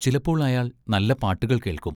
ചിലപ്പോൾ അയാൾ നല്ല പാട്ടുകൾ കേൾക്കും.